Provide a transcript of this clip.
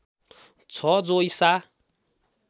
छ जो ईसा